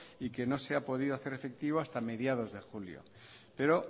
y que no se ha podido hacer efectivo hasta mediados de julio pero